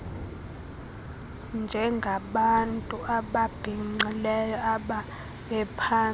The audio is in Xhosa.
njengabantu ababhinqileyo ababephantsi